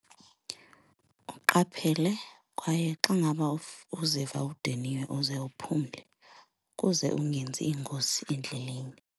Uqaphele kwaye xa ngaba uziva udiniwe uze uphumle ukuze ungenzi iingozi endleleni.